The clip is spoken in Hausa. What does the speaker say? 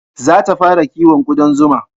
Za ta fara kiwon kuɗan zuma